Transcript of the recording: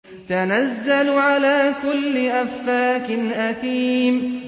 تَنَزَّلُ عَلَىٰ كُلِّ أَفَّاكٍ أَثِيمٍ